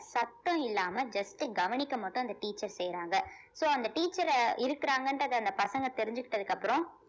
சத்தம் இல்லாம just கவனிக்க மட்டும் அந்த teacher செய்றாங்க so அந்த teacher அ இருக்குறாங்கன்றத அந்த பசங்க தெரிஞ்சுக்கிட்டதுக்கு அப்புறம்